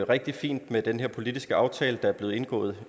rigtig fint med den her politiske aftale der blev indgået